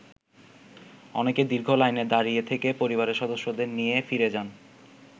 অনেকে দীর্ঘ লাইনে দাঁড়িয়ে থেকে পরিবারের সদস্যদের নিয়ে ফিরে যান।